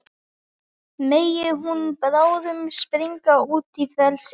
Megi hún bráðum springa út í frelsið.